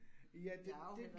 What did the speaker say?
Ja, det det